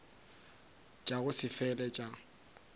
tša go se fele tša